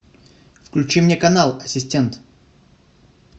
включи мне канал ассистент